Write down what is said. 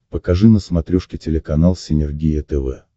покажи на смотрешке телеканал синергия тв